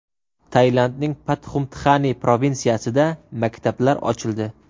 Tailandning Patxumtxani provinsiyasida maktablar ochildi.